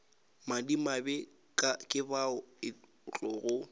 madimabe ke bao e tlogo